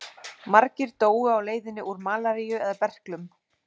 Margir dóu á leiðinni úr malaríu eða berklum.